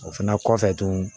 O fɛnɛ kɔfɛ tuguni